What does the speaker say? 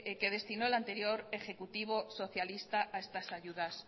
que destinó el anterior ejecutivo socialista a estas ayudas